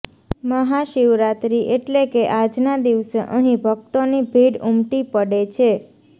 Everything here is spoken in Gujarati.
મહાશિવરાત્રી એટલે કે આજના દિવસે અહીં ભક્તોની ભીડ ઉમટી પડે છે